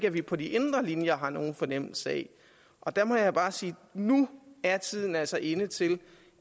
at vi på de indre linjer har nogen fornemmelse af og der må jeg bare sige at nu er tiden altså inde til